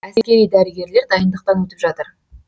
әскери дәрігерлер дайындықтан өтіп жатыр